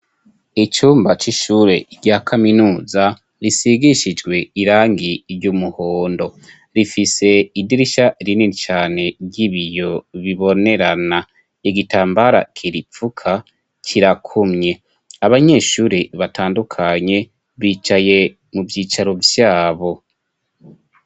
icumba c'ishure rya kaminuza risigishijwe irangi ry'umuhondo rifise idirishya rinini cane ry'ibiyo bibonerana igitambara kiripfuka kirakumye abanyeshuri batandukanye bicaye mu vyicaro vyabo.